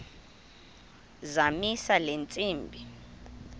zamisa le ntsimbi